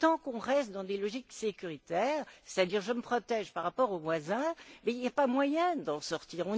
Tant que l'on reste dans des logiques sécuritaires c'est à dire en se protègeant par rapport aux voisins il n'y a pas moyen d'en sortir.